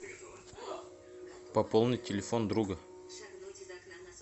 пополнить телефон друга